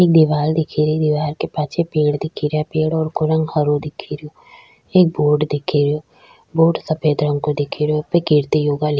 एक दिवाल दिखे री दिवार के पाछे पेड़ दिखे रिया पेड़ को रंग हरो दिखे रिया एक बोर्ड दिखे रियो बोर्ड सफ़ेद रंग को दिखे रो उपे कीर्ति योगा --